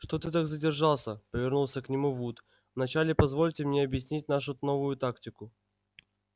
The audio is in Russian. что ты так задержался повернулся к нему вуд вначале позвольте мне объяснить нашу новую тактику